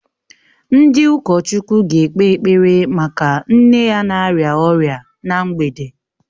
Ndị ụkọchukwu ga-ekpe ekpere maka nne ya na-arịa ọrịa na mgbede